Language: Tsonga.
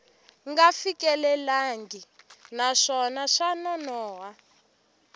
nga fikelelangi naswona swa nonoha